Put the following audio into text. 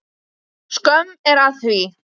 Skömm er að því.